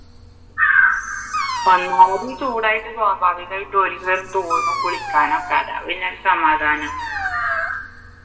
ഒന്നാമത് ഈ ചൂടായിട്ട് സ്വാഭാവികം ആയിട്ടും തോന്നും കുളിക്കാൻ ഒക്കെ അതാ പിന്നെ ഒരു സമാധാനം